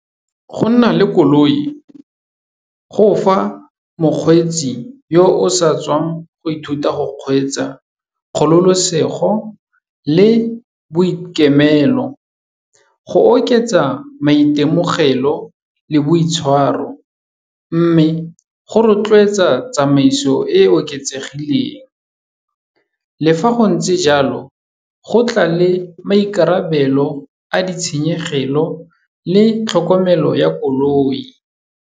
Go nna le koloi go fa mokgweetsi yo o sa tswang go ithuta go kgweetsa kgololosego le boikemelo. Go oketsa maitemogelo le boitshwaro, mme go rotloetsa tsamaiso e e oketsegileng. Le fa go ntse jalo, go tla le maikarabelo a ditshenyegelo le tlhokomelo ya koloi.